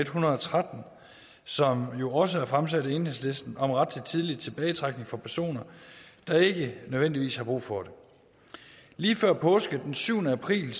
hundrede og tretten som jo også er fremsat af enhedslisten om ret til tidlig tilbagetrækning for personer der ikke nødvendigvis har brug for det lige før påske den syvende april